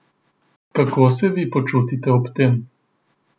Kako se vi počutite ob tem?